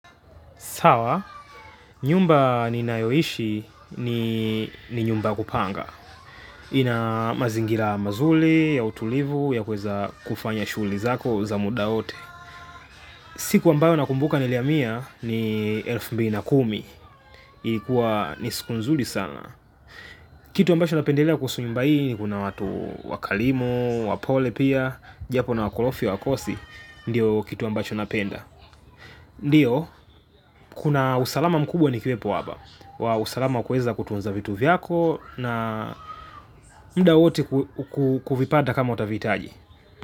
Sawa, nyumba ninayoishi ni nyumba kupanga. Ina mazingira mazuri, ya utulivu, ya kuweza kufanya shughuli zako za muda wote. Siku ambayo nakumbuka nilihamia ni elfu mbili na kumi. Ilikuwa ni siku nzuri sana. Kitu ambacho napendelea kuhusu nyumba hii ni kuna watu wakarimu, wapole pia, japo wakorofi hawakosi, ndiyo kitu ambacho napenda. Ndiyo, kuna usalama mkubwa ni kiepo wapa. Wa usalama kuweza kutunza vitu vyako na muda wote kuvipata kama utavihitaji.